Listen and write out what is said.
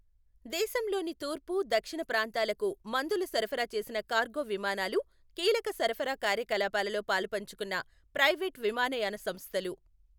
దేశంలోని తూర్పు, దక్షిణ ప్రాంతాలకు మందులు సరఫరా చేసిన కార్గో విమానాలు కీలక సరఫరా కార్యకలాపాలలో పాలుపంచుకున్న ప్రైవేటు విమానయాన సంస్థలు